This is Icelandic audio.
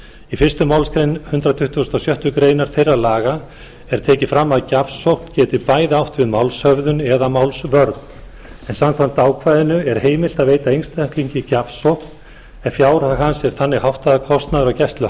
í fyrstu málsgrein hundrað tuttugasta og sjöttu grein þeirra laga er tekið fram að gjafsókn geti bæði átt við um málshöfðun eða málsvörn en samkvæmt ákvæðinu er heimilt að veita einstaklingi gjafsókn ef fjárhag hans er þannig háttað að kostnaður af gæslu